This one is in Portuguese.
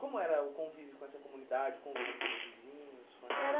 Como era o convívio com essa comunidade, o convívio com os vizinhos, com essas... Era